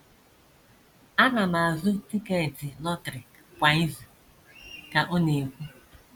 “ Ana m azụ tiketi lọtrị kwa izu, ” ka ọ na - ekwu.